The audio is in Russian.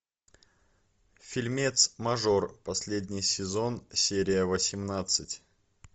фильмец мажор последний сезон серия восемнадцать